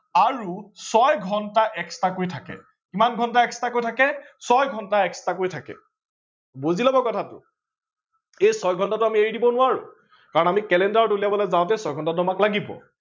আৰু ছয় ঘণ্টা extra কৈ থাকে। কিমান ঘণ্টা extra কৈ থাকে, ছয় ঘণ্টা extra কৈ থাকে। বুজি লব কথাটো এই ছয় ঘণ্টাটো আমি এৰি দিব নোৱাৰো কাৰন আমি calender উলিয়াব যাওতে ছয় ঘণ্টাটো আমাক লাগিব